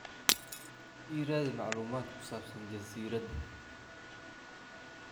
i raadi macluumaad ku saabsan jasiiradda